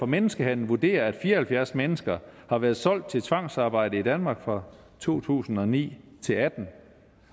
menneskehandel vurderer at fire og halvfjerds mennesker har været solgt til tvangsarbejde i danmark fra to tusind og ni til atten